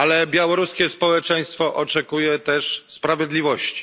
Białoruskie społeczeństwo oczekuje też sprawiedliwości.